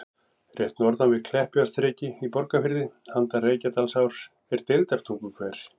Rétt norðan við Kleppjárnsreyki í Borgarfirði, handan Reykjadalsár, er Deildartunguhver.